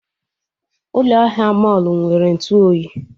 Ụlọ ahịa mọlụ nwere Ntụ oyi